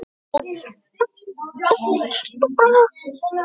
Hana bar óvænt að.